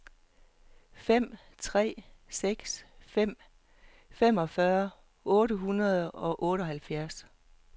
fem tre seks fem femogfyrre otte hundrede og otteoghalvfjerds